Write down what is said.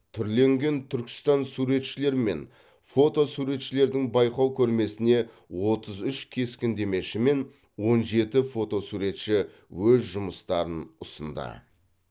түрленген түркістан суретшілер мен фото суретшілердің байқау көрмесіне отыз үш кескіндемеші мен он жеті фотосуретші өз жұмыстарын ұсынды